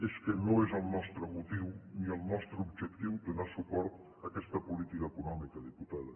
és que no és el nostre motiu ni el nostre objectiu donar suport a aquesta política econòmica diputada